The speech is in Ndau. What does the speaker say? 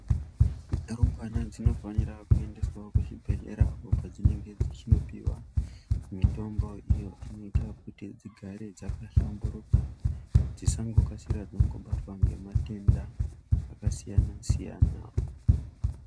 Mirumbwana dzinofanira kuendeswawo kuzvibhadhlera uko kwadzinenge dzichinopiwa mitombo iyo inoita kuti dzigare dzaka hlamburuka dzisangokasira dzangobatwa nematenda akasiyana-siyana.